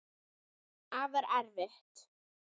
Afar erfitt.